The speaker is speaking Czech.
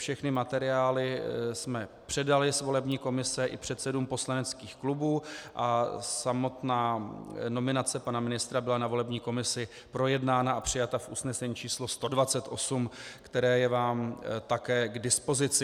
Všechny materiály jsme předali z volební komise i předsedům poslaneckých klubů a samotná nominace pana ministra byla na volební komisi projednána a přijata v usnesení číslo 128, které je vám také k dispozici.